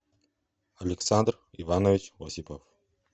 александр иванович осипов